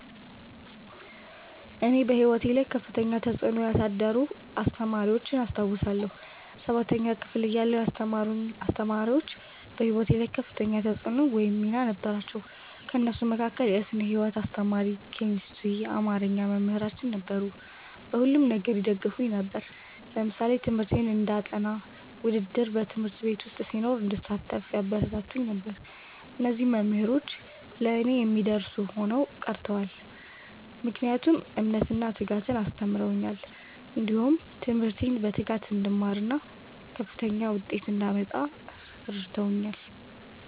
እኔ በሕይወቴ ላይ ከፍተኛ ተጽዕኖ ያሳደሩ አስተማሪዎችን አስታውሳለሁ። ሠባተኛ ክፍል እያለሁ ያስተማሩኝ አስተማሪዎች በህይወቴ ላይ ከፍተኛ ተፅዕኖ ወይም ሚና ነበራቸው። ከእነሱም መካከል የስነ ህይወት አስተማሪ፣ ኬሚስትሪና አማርኛ መምህራን ነበሩ። በሁሉም ነገር ይደግፉኝ ነበር። ለምሳሌ ትምህርቴን እንዳጠ፤ ውድድር በ ት/ቤት ዉስጥ ሲኖር እንድሳተፍ ያበረታቱኝ ነበር። እነዚህ መምህሮች ለእኔ የማይረሱ ሆነው ቀርተዋል። ምክንያቱም እምነትን እና ትጋትን አስተምረውኛል። እንዲሁም ትምህርቴን በትጋት እንድማርና ከፍተኛ ዉጤት እንዳመጣ እረድተውኛል።